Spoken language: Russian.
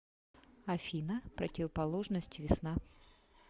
афина противоположность весна